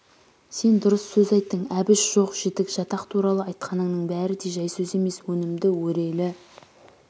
сен дұрыс сөз айттың әбіш жоқ-жітік жатақ туралы айтқаныңның бәрі де жай сөз емес өнімді өрелі